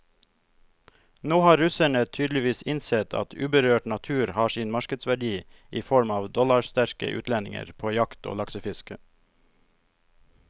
Nå har russerne tydeligvis innsett at uberørt natur har sin markedsverdi i form av dollarsterke utlendinger på jakt og laksefiske.